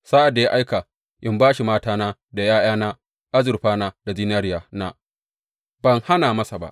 Sa’ad da ya aika in ba shi matana da ’ya’yana, azurfana da zinariyana, ban hana masa ba.